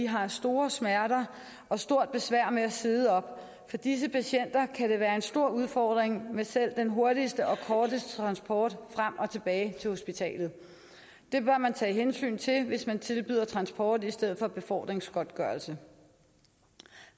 har store smerter og stort besvær med at sidde op for disse patienter kan det være en stor udfordring med selv den hurtigste og korteste transport frem og tilbage til hospitalet det bør man tage hensyn til hvis man tilbyder transport i stedet for befordringsgodtgørelse